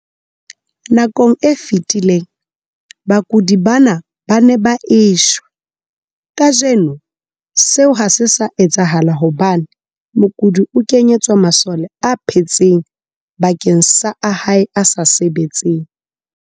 Nakong e fetileng, bakudi bana ba ne ba e shwa. Kajeno seo ha se sa etsahala hobane mokudi o kenyetswa masole a phetseng bakeng sa a hae a sa sebetseng.